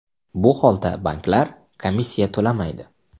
Bu holda banklar komissiya to‘lamaydi.